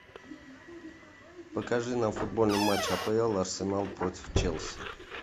покажи нам футбольный матч апл арсенал против челси